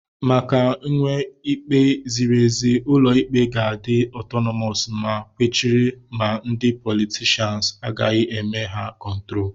Maka nwee ikpe ziri ezi, ụlọ ikpe ga-adi otonomos, ma kwechiri na ndị politishans agaghị eme ha kontrol.